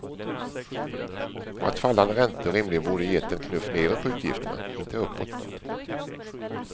Och att fallande räntor rimligen borde gett en knuff nedåt på utgifterna, inte uppåt.